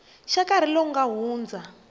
xa nkarhi lowu nga hundza